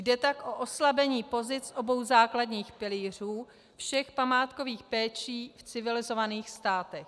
Jde tak o oslabení pozic obou základních pilířů všech památkových péčí v civilizovaných státech.